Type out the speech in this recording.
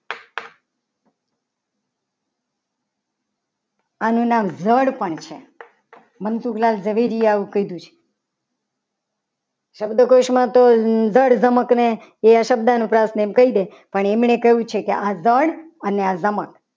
આનું નામ ધડ પણ છે. મનસુખલાલ ઝવેરીયા આવું કીધું છે. શબ્દકોશમાં તો ધડ ધમક અને એવા શબ્દો અનુપ્રાસ એમ કહી દે. પણ એમને કહ્યું છે. કે આ ધડ અને આ ધમક